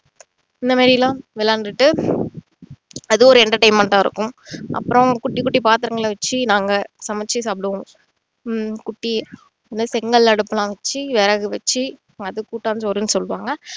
இந்த மாதிரியெல்லாம் விளையாடிட்டு அதுவும் ஒரு entertainment ஆ இருக்கும் அப்புறோம் குட்டி குட்டி பாத்திரங்களை வச்சு நாங்க சமைச்சு சாப்பிடுவோம் ஹம் குட்டி செங்கல் அடுப்புலாம் வச்சி விறகு வச்சி அது கூட்டாஞ்சோறுன்னு சொல்லுவோம்